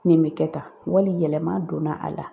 Nin bɛ kɛ tan , wali yɛlɛma donna a la.